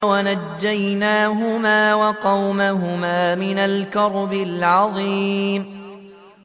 وَنَجَّيْنَاهُمَا وَقَوْمَهُمَا مِنَ الْكَرْبِ الْعَظِيمِ